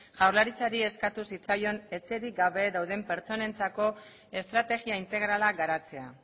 jaurlaritzari eskatu zitzaion etxerik gabe dauden pertsonentzako estrategia integrala garatzea